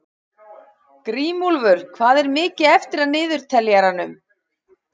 Grímúlfur, hvað er mikið eftir af niðurteljaranum?